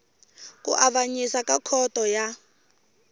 ku avanyisa ka khoto ya